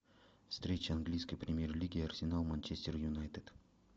встреча английской премьер лиги арсенал манчестер юнайтед